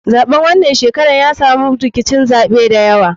Zaɓen wanan shekarar ya samu rkicin zaɓe dayawa.